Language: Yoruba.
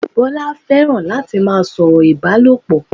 Bọ́lá fẹ́ràn láti má a sọ̀rọ̀ Ìbálòpọ̀